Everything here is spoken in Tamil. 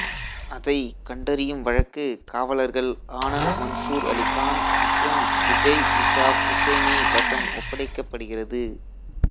அதைக் கண்டறியும் வழக்கு காவலர்கள் ஆனந்த் மன்சூர் அலி கான் மற்றும் விஜய் இஷாக் ஹுசைனி வசம் ஒப்படைக்கப்படுகிறது